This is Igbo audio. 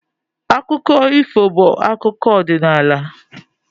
Akụkọ ifo bụ akụkọ ọdịnala